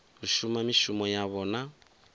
u shuma mishumo yavho na